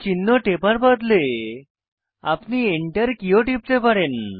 চিহ্ন টেপার বদলে আপনি Enter কী ও টিপে পারেন